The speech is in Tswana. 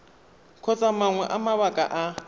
kgotsa mangwe a mabaka a